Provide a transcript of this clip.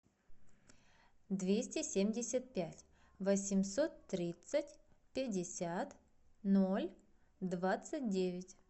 двести семьдесят пять восемьсот тридцать пятьдесят ноль двадцать девять